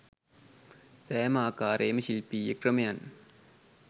සෑම ආකාරයේම ශිල්පීය ක්‍රමයන්